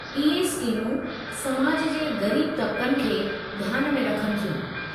इहे स्कीमूं समाज जे ग़रीब तबक़नि खे ध्यान में रखनि थियूं।